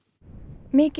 mikill